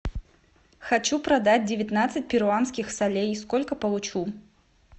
хочу продать девятнадцать перуанских солей сколько получу